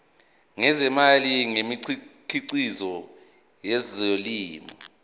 ngezimali ngemikhiqizo yezolimo